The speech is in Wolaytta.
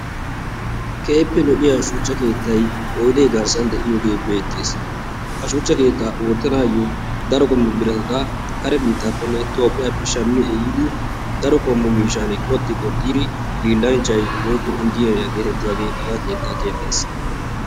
Keehippe lo''iya shuchcha keettay oydde garssan de'iyooge beettees. ha shuchcha keettaa oottanayyo daro qommo birata kare biittappenne Itoophiyappe shammi ehidi daro qommo miishshan qoxxi qoxxiri hiillanchchay woykko Injjineeriyaa getettiyaagee haga keettaa keexxees.